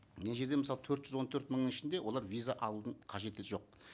мына жерде мысалы төрт жүз он төрт мыңның ішінде олар виза алудың қажеті жоқ